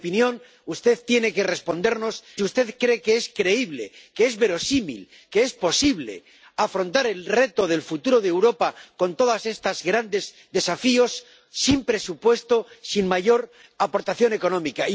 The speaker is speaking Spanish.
En mi opinión, usted tiene que respondernos si cree que es creíble, que es verosímil, que es posible afrontar el reto del futuro de Europa con todos estos grandes desafíos sin presupuesto y sin una mayor aportación económica.